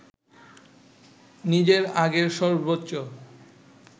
নিজের আগের সর্বোচ্চ